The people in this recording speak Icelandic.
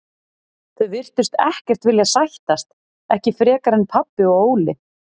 Þau virtust ekkert vilja sættast, ekki frekar en pabbi og Óli.